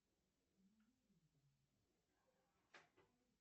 посмотрим что там дальше будет перемотай вперед